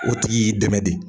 O tigi y'i dɛmɛ de